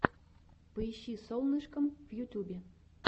поищи солнышкам в ютюбе